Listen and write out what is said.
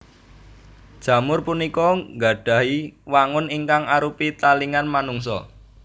Jamur punika nggadhahi wangun ingkang arupi talingan manungsa